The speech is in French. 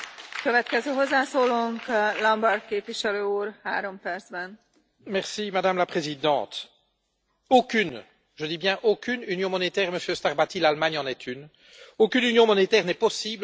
Madame la Présidente, aucune, je dis bien, aucune union monétaire Monsieur Starbatty, l'Allemagne en est une aucune union monétaire n'est possible sans de puissants mécanismes de solidarité financière, à la fois privés et publics.